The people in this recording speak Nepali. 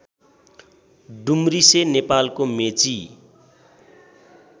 डुम्रिसे नेपालको मेची